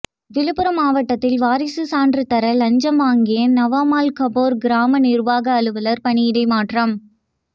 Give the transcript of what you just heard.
விழுப்புரம் மாவட்டத்தில் வாரிசு சான்று தர லஞ்சம் வாங்கிய நவமால் காப்பேர் கிராம நிர்வாக அலுவலர் பணியிட மாற்றம்